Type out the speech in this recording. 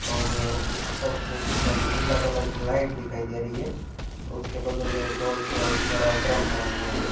और सब एक नीला कलर की लाइट दिखाई दे रही है और उसके बगल में बहुत बड़ा ड्रम पड़ा हुआ है।